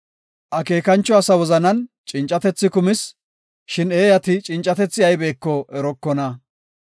Akeekancho asa wozanan cincatethi kumis; shin eeyati cincatethi aybeko erokona.